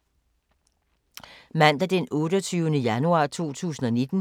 Mandag d. 28. januar 2019